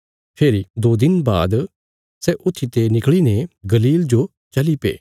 फेरी दो दिन बाद सै ऊत्थीते निकल़ीने गलील जो चलीप्या